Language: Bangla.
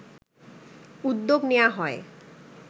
উদ্যোগ নেয়া হয়